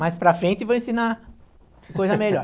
Mais para frente vou ensinar coisa melhor.